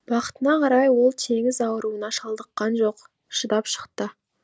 бақытына қарай ол теңіз ауруына шалдыққан жоқ шыдап шықты